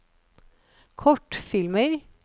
kortfilmer